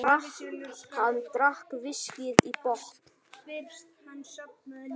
Hann drakk viskíið í botn.